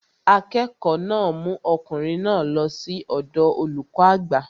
Akẹ́kọ̀ọ́ náà mú ọkùnrin náà lọ sí ọ̀dọọ olùkọ́ àgbà